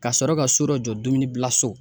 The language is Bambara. Ka sɔrɔ ka so dɔ jɔ dumuni bila so.